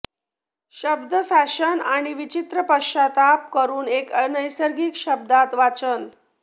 शब्द फॅशन आणि विचित्र पश्चात्ताप करून एक अनैसर्गिक शब्दात वाचन